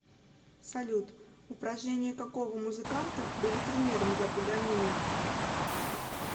салют упражнения какого музыканта были примером для паганини